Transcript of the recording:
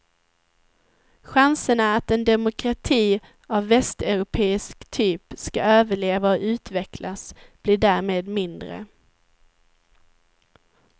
Chanserna att en demokrati av västeuropeisk typ skall överleva och utvecklas blir därmed mindre.